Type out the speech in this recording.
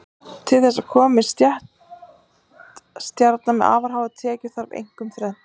Til þess að upp komi stétt stjarna með afar háar tekjur þarf einkum þrennt.